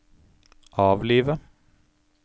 avlive